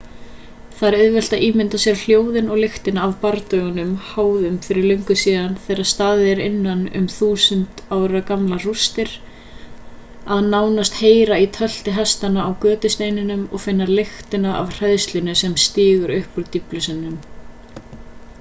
það er auðvelt að ímynda sér hljóðin og lyktina af bardögum háðum fyrir löngu síðan þegar staðið er innan um þúsund ára gamlar rústir að nánast heyra í tölti hestanna á götusteinunum og finna lyktina af hræðslunni sem stígur upp úr dýflissunum